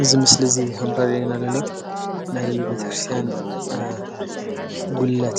እዚ ምስሊ እዚ ኸም ዘርእየና ዘሎ ናይ ቤተክርስትያን ጉልላት